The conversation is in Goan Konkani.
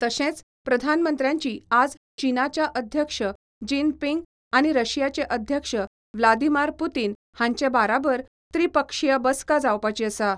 तशेंच प्रधानमंत्र्याची आज चीनाच्या अध्यक्ष जीन पिंग आनी रशियाचे अध्यक्ष व्लादीमार पुतीन हांचे बाराबर त्रिपक्षीय बसका जावपाची आसा.